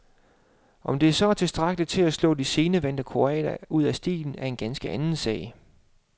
Om det så er tilstrækkeligt til at slå de scenevante kroater ud af stilen, er en ganske anden sag.